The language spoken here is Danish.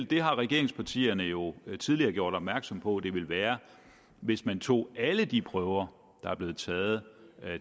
det har regeringspartierne jo tidligere gjort opmærksom på at det ville være hvis man tog alle de prøver der er blevet taget